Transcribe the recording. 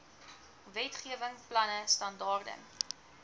wetgewing planne standaarde